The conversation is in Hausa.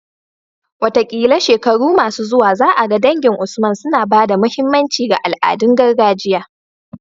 Wataƙila shekaru masu zuwa za a ga dangin Usman suna ba da muhimmanci ga al'adun gargajiya